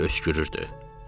Arabir öskürürdü.